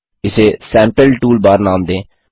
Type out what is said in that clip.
इसे sample toolbar नाम दें